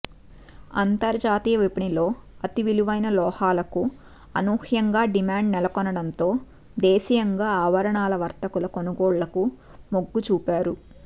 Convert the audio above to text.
అంతర్జాతీయ విపణిలో అతి విలువైన లోహాలకు అనూహ్యంగా డిమాండ్ నెలకొనడంతో దేశీయంగా ఆభరణాల వర్తకులు కొనుగోళ్లకు మొగ్గు చూపారు